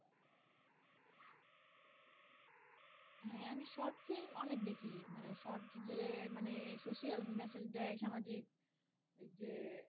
হ্যা short film অনেক দেখি মানে short যে মানে social message দেয় সামাজিক যে